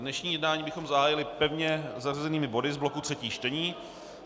Dnešní jednání bychom zahájili pevně zařazenými body z bloku třetích čtení.